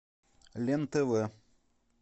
лен тв